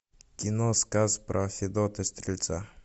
кино сказ про федота стрельца